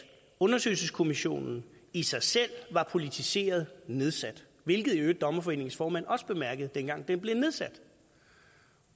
undersøgelseskommissionen i sig selv var politiseret nedsat hvilket dommerforeningens formand også bemærkede dengang den blev nedsat